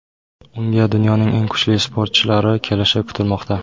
Unga dunyoning eng kuchli sportchilari kelishi kutilmoqda.